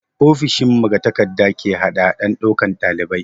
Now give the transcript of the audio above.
Ofishin magatakarda ke hadahadar ɗaukan ɗalibai.